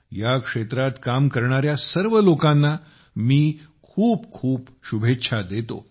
या क्षेत्रात काम करणाऱ्या सर्व लोकांना मी खूप खूप शुभेच्छा देतो